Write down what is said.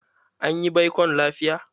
Anyi baikon lafiya.